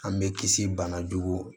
An bɛ kisi bana jugu ma